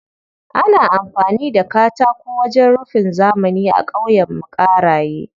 Ana amfani da katako wajen rufin zamani a ƙauyenmu Ƙaraye.